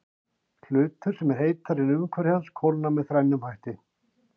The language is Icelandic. Hlutur sem er heitari en umhverfi hans kólnar með þrennum hætti.